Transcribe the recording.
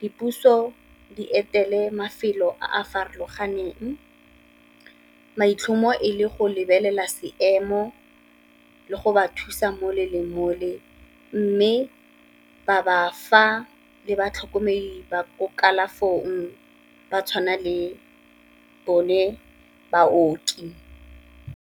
dipuso di etele mafelo a a farologaneng, maitlhomo e le go lebelela seemo le go ba thusa mole le mole, mme ba ba fa le batlhokomedi ba ko kalafong ba tshwana le bone baoki.